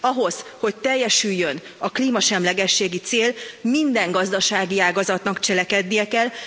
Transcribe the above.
Ahhoz, hogy teljesüljön a klímasemlegességi cél, minden gazdasági ágazatnak cselekednie kell.